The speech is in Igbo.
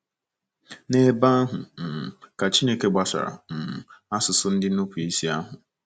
N'ebe ahụ um ka Chineke ghasara um asụsụ ndị nupụ isi ahụ.